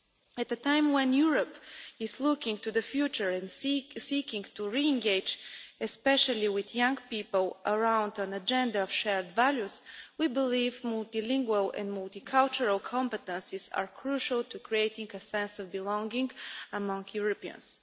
At a time when Europe is looking to the future and seeking to re-engage, especially with young people, around an agenda of shared values, we believe multilingual and multicultural competences are crucial to creating a sense of belonging among Europeans.